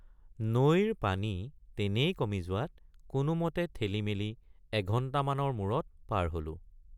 নৈৰ পানী তেনেই কমি যোৱাত কোনোমতে ঠেলিমেলি এঘণ্টামানৰ মুৰত পাৰ হলোঁ।